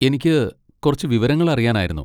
എനിക്ക് കുറച്ച് വിവരങ്ങൾ അറിയാനായിരുന്നു.